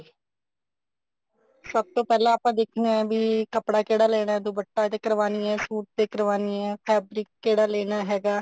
ਸਭ ਤੋਂ ਪਹਿਲਾਂ ਆਪਾਂ ਦੇਖਣਾ ਕੇ ਕੱਪੜਾ ਕਿਹੜਾ ਲੈਣਾ ਦੁਪੱਟੇ ਤੇ ਕਰਵਾਉਣੀ ਆ ਸੂਟ ਤੇ ਕਰਵਾਉਣੀ ਆ fabric ਕਿਹੜਾ ਲੈਣਾ ਹੈਗਾ